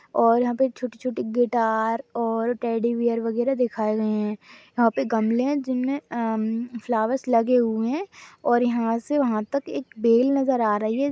और यहाँ पे छोटी छोटी गिटार और टेडी बियर वगैरह दिखाए गए है यहाँ पे गमले है जिनमे अ फ्लावर लगे हुए है और यहाँ से वहाँ तक एक बेल नजर आ रही है।